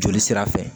Joli sira fɛ